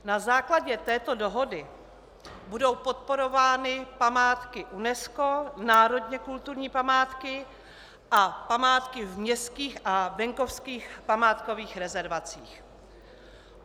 Na základě této dohody budou podporovány památky UNESCO, národně kulturní památky a památky v městských a venkovských památkových rezervacích.